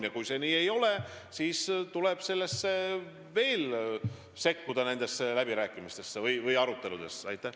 Ja kui see ei ole nii, siis tuleb veel nendesse läbirääkimistesse või aruteludesse sekkuda.